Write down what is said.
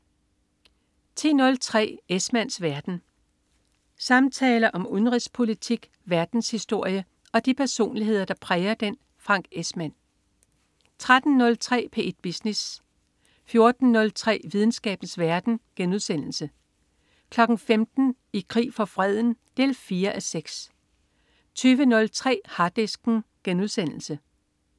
10.03 Esmanns verden. Samtaler om udenrigspolitik, verdenshistorie og de personligheder, der præger den. Frank Esmann 13.03 P1 Business 14.03 Videnskabens verden* 15.00 I krig for freden 4:6 20.03 Harddisken*